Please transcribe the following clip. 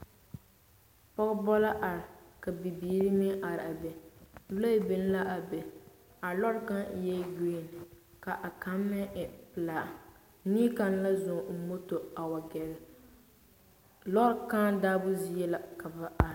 Pɔgebɔ la are, ka bibiiri meŋ are a be. Lɔɛ biŋ la a be. A lɔɔre kaŋa e giriŋ ka kaŋa e pelaa. Neɛ kaŋa la zɔŋ o moto a wa gɛrɛ. Lɔɔre kaŋa daabo zie la ka ba are.